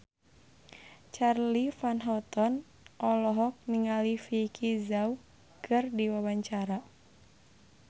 Charly Van Houten olohok ningali Vicki Zao keur diwawancara